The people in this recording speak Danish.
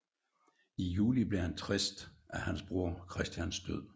I juli blev han trist af hans broder Christians død